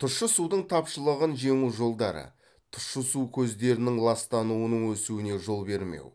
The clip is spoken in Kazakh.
тұщы судың тапшылығын жеңу жолдары тұщы су көздерінің ластануының өсуіне жол бермеу